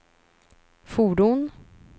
fordon